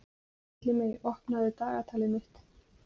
Villimey, opnaðu dagatalið mitt.